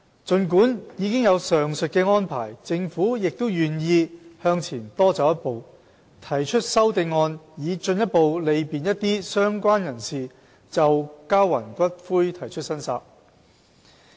儘管已有上述的安排，政府亦願意向前多走一步，提出修正案以進一步利便一些相關人士就交還骨灰提出申索。